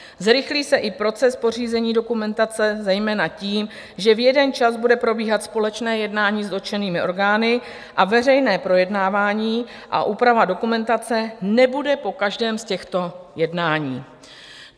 Zrychlí se i proces pořízení dokumentace, zejména tím, že v jeden čas bude probíhat společné jednání s dotčenými orgány a veřejné projednávání a úprava dokumentace nebude po každém z těchto jednání.